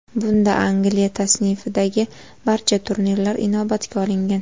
Bunda Angliya tasnifidagi barcha turnirlar inobatga olingan .